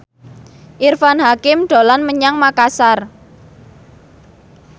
Irfan Hakim dolan menyang Makasar